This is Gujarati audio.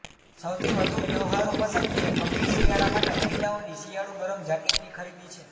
સૌથી વધુ વ્યવહારુ પસંદગી એ ગંભીર શિયાળા માટે મહિલાઓની શિયાળુ ગરમ જાકીટની ખરીદી છે